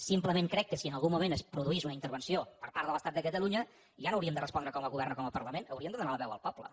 simplement crec que si en algun moment es produís una intervenció per part de l’estat de catalunya ja no hauríem de respondre com a govern o com a parlament hauríem de donar la veu al poble